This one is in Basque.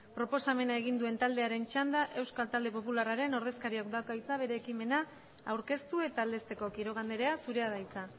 proposamena egin duen taldearen txanda euskal talde popularraren ordezkariak dauka hitza bere ekimena aurkeztu eta aldezteko quiroga andrea zurea da hitza